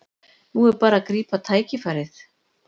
Nú er bara að grípa tækifærið